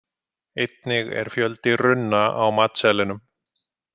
Einnig er fjöldi runna á matseðlinum.